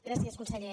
gràcies conseller